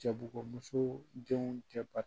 Jabugu musow denw tɛ ba